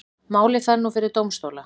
Málið fer nú fyrir dómstóla